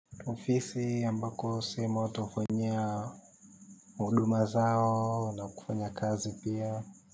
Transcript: Ofisi ambako sehemu twafanyia huduma zao na kufanya kazi pia.